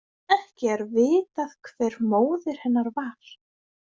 Ekki er vitað hver móðir hennar var.